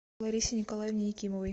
ларисе николаевне якимовой